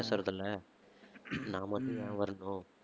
பேசறதில்ல நான் மட்டும் ஏன் வரணும்?